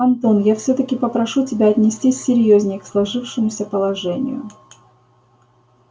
антон я всё-таки попрошу тебя отнестись серьёзнее к сложившемуся положению